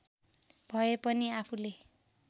भए पनि आफूले